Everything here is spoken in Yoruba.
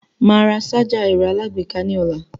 Màá ra sájà ẹ̀rọ aláàgbéká ní ọ̀la.